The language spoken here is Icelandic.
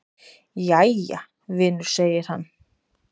"""Jæja, vinur segir hann."""